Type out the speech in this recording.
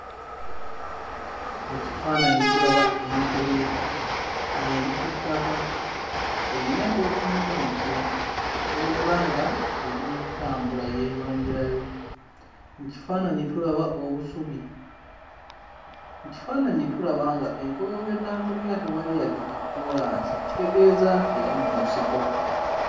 Mu kifaananyi tulaba enkobe ng'eri ku ttaka eyina ky'etunuulidde wabula nga eri mu kutambula yeeyongerayo. Mu kifaananyi tulaba obusubi. Mu kifaananyi tulaba nga enkobe w'etambulira tewali yadde kakkoolaasi ekitegeeza nti yali mu nsiko.